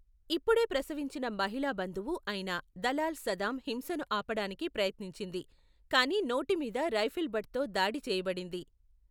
ఇప్పుడే ప్రసవించిన మహిళా బంధువు అయిన దలాల్ సదామ్ హింసను ఆపడానికి ప్రయత్నించింది, కానీ నోటి మీద రైఫిల్ బట్తో దాడి చెయ్యబడింది.